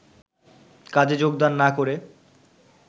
কাজে যোগদান না করে